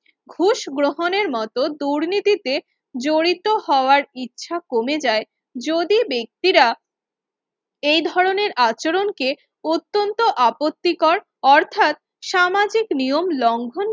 ঘুষ গ্রহণের মতন দুর্নীতিতে জড়িত হওয়ার ইচ্ছা কমে যায় যদি ব্যক্তিরা এই ধরনের আচরণকে অত্যন্ত আপত্তিকর অর্থাৎ সামাজিক নিয়ম লঙ্ঘন